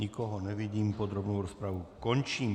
Nikoho nevidím, podrobnou rozpravu končím.